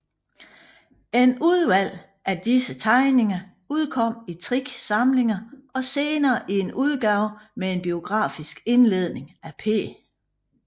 Et udvalg af disse tegninger udkom i tre samlinger og senere i en udgave med en biografisk indledning af P